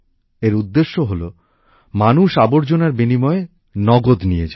এর উদ্দেশ্য হল মানুষ আবর্জনার বিনিময়ে নগদ নিয়ে যান